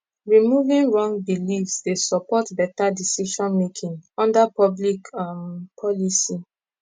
removing wrong beliefs dey support better decisionmaking under public um policy